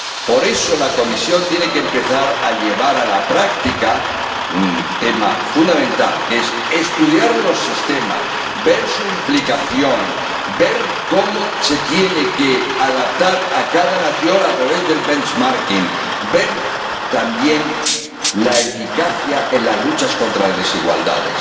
Por eso, la Comisión tiene que empezar a llevar a la práctica un tema fundamental, que es estudiar los sistemas de renta mínima, ver su implicación, ver cómo se tienen que adaptar a cada nación a través del benchmarking ver también su eficacia en la lucha contra las desigualdades.